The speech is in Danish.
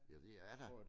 Ja det ja da